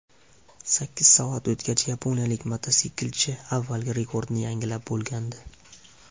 Sakkiz soat o‘tgach, yaponiyalik mototsiklchi avvalgi rekordni yangilab bo‘lgandi.